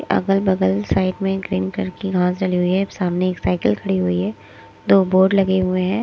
अगल बगल साइड में ग्रीन करके घांस जली हुई है अब सामने एक साइकिल खड़ी हुई है दो बोर्ड लगे हुए हैं।